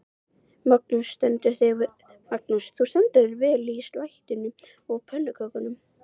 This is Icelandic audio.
Magnús: Þú stendur þig vel í slættinum og pönnukökunum?